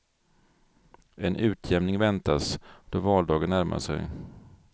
En utjämning väntas, då valdagen närmar sig.